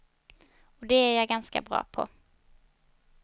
Och det är jag ganska bra på.